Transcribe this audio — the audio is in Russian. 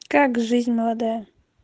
как жизнь молодая